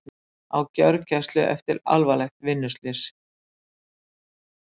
Á gjörgæslu eftir alvarlegt vinnuslys